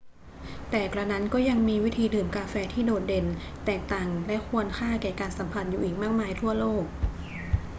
แต่กระนั้นก็ยังมีวิธีดื่มกาแฟที่โดดเด่นแตกต่างและควรค่าแก่การสัมผัสอยู่อีกมากมายทั่วโลก